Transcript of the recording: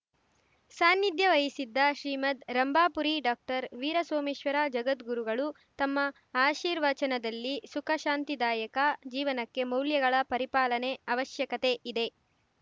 ಸಾನ್ನಿಧ್ಯ ವಹಿಸಿದ್ದ ಶ್ರೀಮದ್‌ ರಂಭಾಪುರಿ ಡಾಕ್ಟರ್ವೀರಸೋಮೇಶ್ವರ ಜಗದ್ಗುರುಗಳು ತಮ್ಮ ಆಶೀರ್ವಚನದಲ್ಲಿ ಸುಖ ಶಾಂತಿದಾಯಕ ಜೀವನಕ್ಕೆ ಮೌಲ್ಯಗಳ ಪರಿಪಾಲನೆ ಅವಶ್ಯಕತೆ ಇದೆ